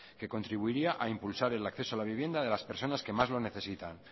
que contribuiría a impulsar el acceso a la vivienda de las personas que más lo necesitan